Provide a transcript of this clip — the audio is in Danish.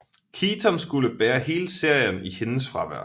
Keaton skulle bære hele serien i hendes fravær